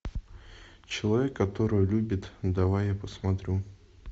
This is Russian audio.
человек который любит давай я посмотрю